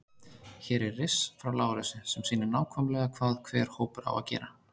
Hér er riss frá Lárusi sem sýnir nákvæmlega hvað hver hópur á að gera.